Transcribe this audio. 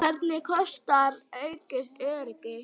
Hvað kostar aukið öryggi?